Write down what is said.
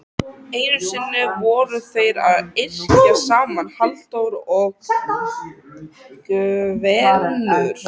Einu sinni voru þeir að yrkja saman Halldór og Gvendur.